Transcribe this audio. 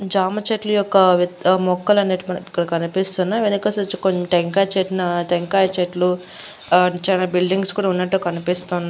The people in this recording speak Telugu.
జామ చెట్లు యొక్క మొక్కలు అనేటివి మనకు ఇక్కడ కనిపిస్తున్నాయి వెనక వచ్చేసి కొన్ని టెంకాయ చెట్ నా టెంకాయ చెట్లు చాలా బిల్డింగ్స్ కూడా ఉన్నట్టు కనిపిస్తు --